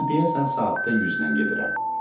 Amma deyəsən saatda 100-lə gedirəm.